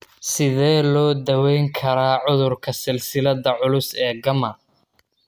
Sidee lagu daweyn karaa cudurka silsiladda culus ee gamma?